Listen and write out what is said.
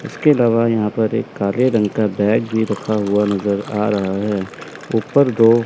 इसके अलावा यहां पर एक काले रंग का बैग भी रखा हुआ नजर आ रहा है ऊपर दो--